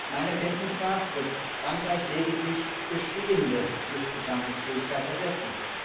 Meiner Kenntnis nach wird Frankreich lediglich bestehende Luftbetankungsfähigkeiten ersetzen.